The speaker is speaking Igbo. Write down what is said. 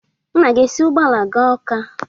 Nna esi ụgbọala gaa Ọ́ká?